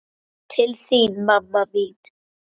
Til þín, mamma mín.